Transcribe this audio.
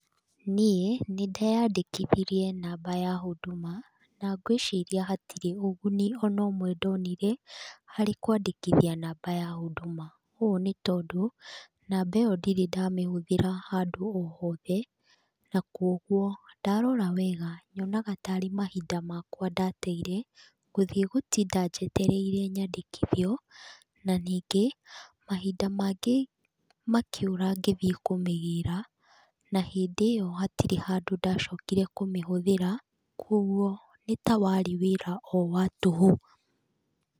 Niĩ nĩndeyandĩkithirie namba ya chuduma na ngwĩciria hatirĩ ũguni ona ũmwe ndonire harĩ kwandĩkithia namba ya chuduma. Ũũ nĩ tondũ namba ĩyo ndirĩ ndamĩhũthira handũ o hothe na kuũguo ndarora wega nyonaga tarĩ mahinda makwa ndateire gũthiĩ gũtinda njetereire nyandĩkithio na ningĩ mahinda mangĩ makĩũra ngĩthiĩ kũmĩgĩra na hĩndi ĩyo hatirĩ handu ndacokire kũmĩhũthĩra kuũguo warĩ wĩra o wa tũhũ.